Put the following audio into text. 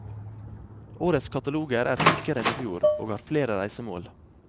Årets kataloger er tykkere enn i fjor, og har flere reisemål.